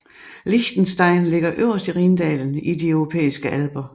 Liechtenstein ligger øverst i Rhindalen i de europæiske Alper